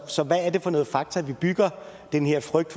så hvad er det for nogle fakta vi bygger den her frygt